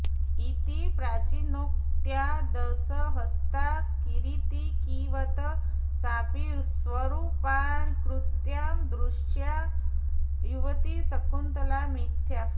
इति प्राचीनोक्त्या दशहस्ता हरीतिकीवत् साऽपि स्वरूपाऽऽकृत्या दृष्टा युवती शकुन्तला मिथ्या